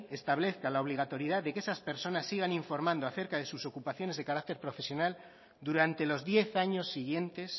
establezca la obligatoriedad de que esas personas sigan informando a cerca de sus ocupaciones de carácter profesional durante los diez años siguientes